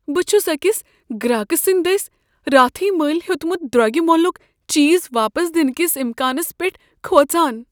بہٕ چھُس اكِس گراكہٕ سندِ دسۍ راتھٕے مٔلۍ ہیوتمُت دروگہِ مۄلک چیز واپس دِنہٕ كِس امكانس پیٹھ کھوژان۔